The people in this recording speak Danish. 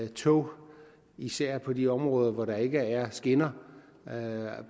tog især på de områder hvor der ikke er skinner